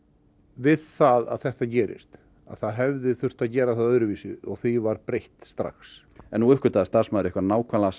við það að þetta gerist að það hefði þurft að gera það öðruvísi og því var breytt strax en nú uppgötvaði starfsmaður ykkar nákvæmlega